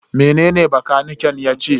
Mene bakaniken yace?